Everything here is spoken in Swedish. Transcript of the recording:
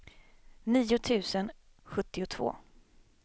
nio tusen sjuttiotvå